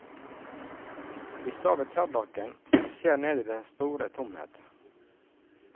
Vi står ved tørrdokken og ser ned i dens store tomhet.